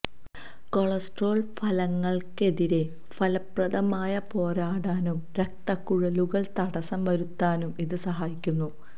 cholesterol ഫലകങ്ങൾക്കെതിരെ ഫലപ്രദമായി പോരാടാനും രക്തക്കുഴലുകൾ തടസ്സം വരുത്താനും ഇത് സഹായിക്കുന്നു